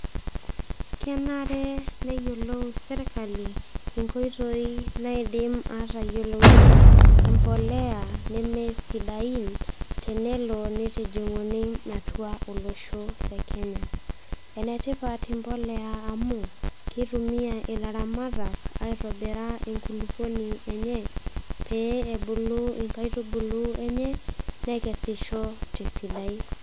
kenare neyiolosirkali inkoitoi naidim atayiolounyie impoleya neme sidain tenelo nitijing'uni atua olosho le kenya enetipat impoleya amu kitumia ilaramatak aitobira enkulupuoni enye pee ebulu inkaitubulu enye nekesisho tesidai.